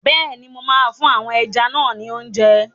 Bẹ́ẹ̀ni, mo máa fún àwọn ẹja náà ni óúnjẹ.